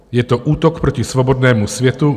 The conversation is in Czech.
Je to útok proti svobodnému světu.